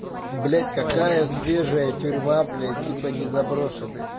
блять какая свежая тюрьма блять типа не заброшены